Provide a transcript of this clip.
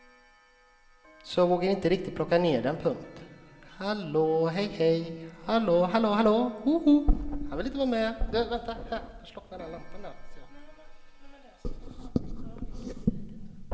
Så jag vågade inte riktigt plocka ner den. punkt